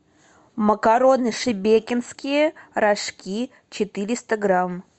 макароны шебекинские рожки четыреста грамм